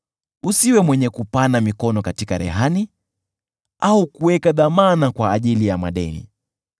Usiwe mwenye kupana mikono katika rehani, au kuweka dhamana kwa ajili ya madeni.